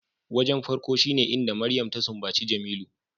Wajen farko shine inda Mariam ta sumbaci Jemilu